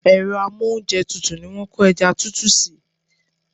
Èro amóúnjetutù ni wón ko eja tutu si